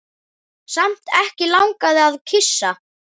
Samt ekki langað að kyssa.